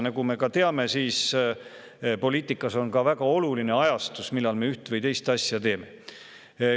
Nagu me ka teame, on poliitikas väga oluline ajastus millal me üht või teist asja teeme.